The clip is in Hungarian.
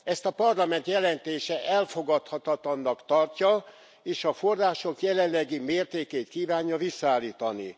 Ezt a Parlament jelentése elfogadhatatlannak tartja, és a források jelenlegi mértékét kívánja visszaállítani.